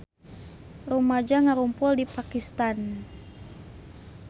Rumaja ngarumpul di Pakistan